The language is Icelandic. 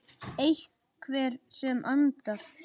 Einhver sem andar.